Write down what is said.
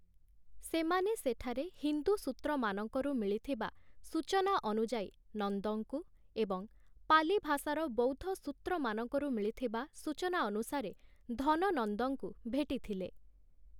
ସେମାନେ ସେଠାରେ ହିନ୍ଦୁ ସୂତ୍ରମାନଙ୍କରୁ ମିଳିଥିବା ସୂଚନା ଅନୁଯାୟୀ 'ନନ୍ଦ'ଙ୍କୁ ଏବଂ ପାଲି ଭାଷାର ବୌଦ୍ଧ ସୂତ୍ରମାନଙ୍କରୁ ମିଳିଥିବା ସୂଚନା ଅନୁସାରେ 'ଧନନନ୍ଦ'ଙ୍କୁ ଭେଟିଥିଲେ ।